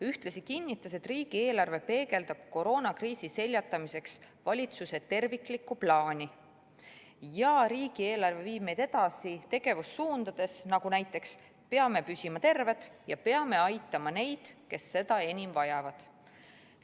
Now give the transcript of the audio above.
Ühtlasi kinnitas ta, et riigieelarve peegeldab koroonakriisi seljatamiseks valitsuse terviklikku plaani ja viib meid edasi mitmetes tegevussuundades, nagu näiteks, et peame püsima terved ja peame aitama neid, kes seda enim vajavad.